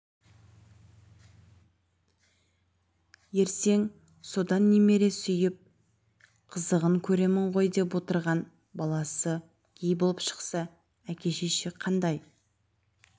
ертең содан немере сүйіп қызығын көремін ғой деп отырған баласы гей болып шықса әке-шеше қандай